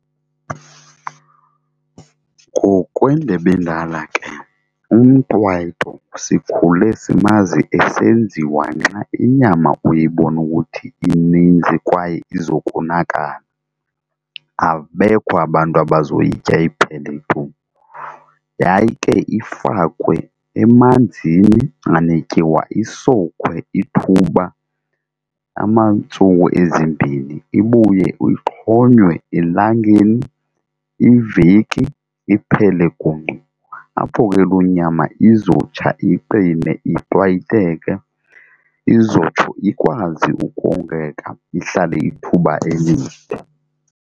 Ngokwendebe endala ke umqwayito sikhule simazi esenziwa nxa inyama uyibona ukuthi ininzi kwaye izokonakala abekho abantu abazoyitya iphele tu. Yayike ifakwe emanzini anetyiwa isowukhwe ithuba iintsuku ezimbini ibuye uyixhonywe elangeni iveki iphele gungqu apho ke loo nyama izotsha iqine iqwayiteke izotsho ikwazi ukongeka ihlale ithuba elide.